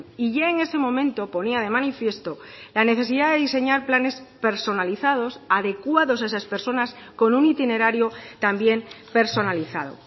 y ya en ese momento ponía de manifiesto la necesidad de diseñar planes personalizados adecuados a esas personas con un itinerario también personalizado